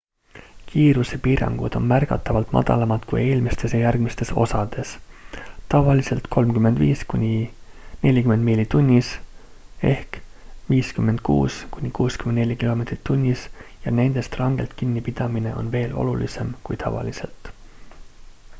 kiirusepiirangud on märgatavalt madalamad kui eelmistes ja järgmistes osades – tavaliselt 35–40 miili tunnis 56–64 km/h – ja nendest rangelt kinni pidamine on veel olulisem kui tavaliselt